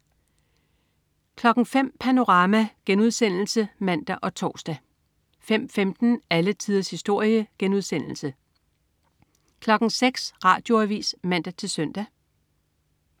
05.00 Panorama* (man og tors) 05.15 Alle tiders historie* 06.00 Radioavis (man-søn)